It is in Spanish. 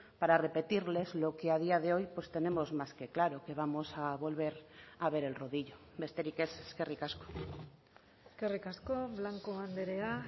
para repetirles lo que a día de hoy pues tenemos más que claro que vamos a volver a ver el rodillo besterik ez eskerrik asko eskerrik asko blanco andrea